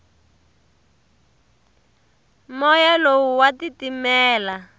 moya lowu wa titimela